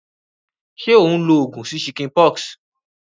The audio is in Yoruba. Sé o n lo ogùn sí chickenpox?